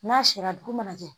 N'a sera dugu ma kɛ